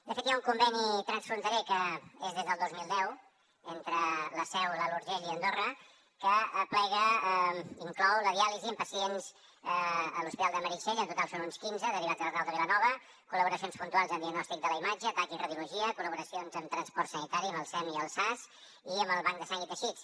de fet hi ha un conveni transfronterer que és des del dos mil deu entre la seu l’alt urgell i andorra que inclou la diàlisi en pacients a l’hospital de meritxell en total són uns quinze derivats de l’arnau de vilanova col·laboracions puntuals en diagnòstic de la imatge tac i radiologia collaboracions en transport sanitari amb el sem i el sas i amb el banc de sang i teixits